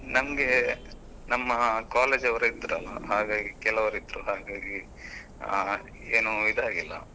ನಮ್ಗೆ ನಮ್ಮ college ಅವರೇ ಇದ್ರಲ್ಲ ಹಾಗಾಗಿ ಕೆಲವರಿದ್ರು ಹಾಗಾಗಿ ಅಹ್ ಏನೂ ಇದಾಗಿಲ್ಲ. .